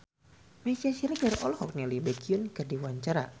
Meisya Siregar olohok ningali Baekhyun keur diwawancara